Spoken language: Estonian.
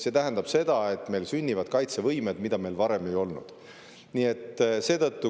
See tähendab, et meil sünnivad kaitsevõimed, mida meil varem ei ole olnud.